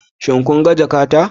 Shin kun ga jakata?